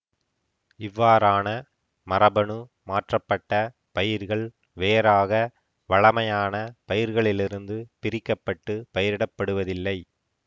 இவ்வாறான மரபணு மாற்றப்பட்ட பயிர்கள் வேறாக வழமையான பயிர்களிலிருந்து பிரிக்க பட்டு பயிரிடப்படுவதில்லை